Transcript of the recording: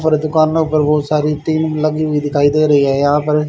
और दुकान में ऊपर बहोत सारी तेल लगी हुई दिखाई दे रही है यहां पर--